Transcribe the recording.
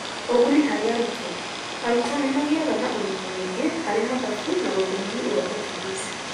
Ũguni harĩ arutwo: Arutwo nĩ magĩaga na ũmenyo mũingĩ harĩ mathabu na rũthiomi rwa Portuguese.